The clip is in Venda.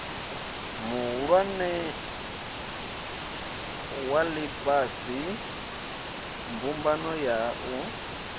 mihulwane ya ifhasi mbumbano ya